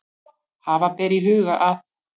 Hafa ber í huga að